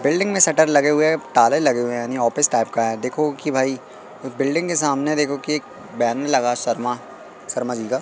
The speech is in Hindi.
बिल्डिंग में शटर लगे हुए ताले लगे हुए हैं यानी ऑफिस टाइप का है देखो की भाई बिल्डिंग के सामने देखो की एक बैनर लगा शर्मा शर्मा जी का--